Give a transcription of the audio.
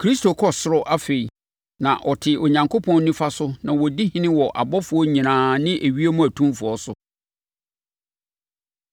Kristo kɔ ɔsoro afei, na ɔte Onyankopɔn nifa so na ɔdi ɔhene wɔ abɔfoɔ nyinaa ne ewiem atumfoɔ so.